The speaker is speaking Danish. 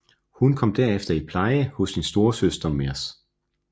Hun kom derefter i pleje hos sin storesøster Mrs